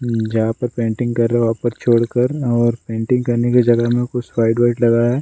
जहां पर पेंटिंग कर रहा है वहां पर छोड़कर और पेंटिंग की जगह में कुछ व्हाइट व्हाइट लगा है।